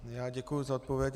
Já děkuji za odpověď.